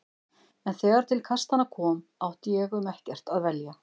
En þegar til kastanna kom átti ég um ekkert að velja.